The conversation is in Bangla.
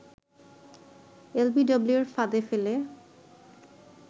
এলবিডব্লিউর ফাঁদে ফেলে